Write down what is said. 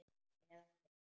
Eða við.